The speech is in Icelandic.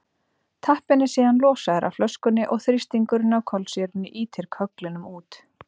tappinn er síðan losaður af flöskunni og þrýstingurinn á kolsýrunni ýtir kögglinum út